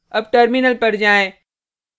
अब टर्मिनल पर जाएँ